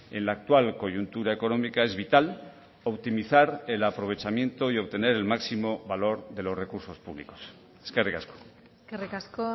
en la actual coyuntura económica es vital optimizar el aprovechamiento y obtener el máximo valor de los recursos públicos eskerrik asko eskerrik asko